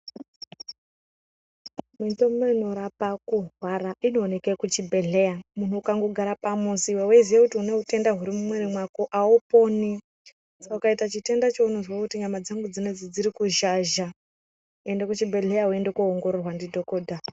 Mitombo inorape kurwara inoonekwe kuchibhedhleya muntu ukangogara pamuzi weiziye kuti une utenda huri mumwiri mwako auponi saka ukaita chitenda chekuyi urikuzwa kuti mwiri dzangu dziri kurwadza enda kuchibhedhlera undoongororwa ndidhokodha.